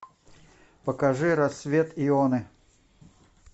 покажи рассвет йоны